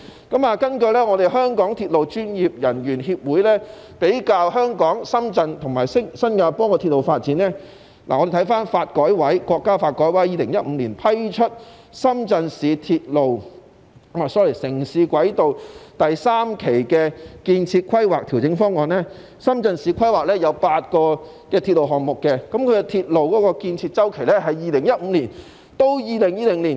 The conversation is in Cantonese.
根據香港鐵路運輸專業人員協會對香港、深圳和新加坡的鐵路發展作出的比較，國家發展和改革委員會在2015年批出深圳市城市軌道第三期的建設規劃調整方案，深圳市規劃有8個鐵路項目，鐵路的建設期為2015年至2020年。